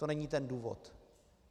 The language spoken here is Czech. To není ten důvod.